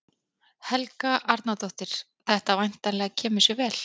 Helga Arnardóttir: Þetta væntanlega kemur sér vel?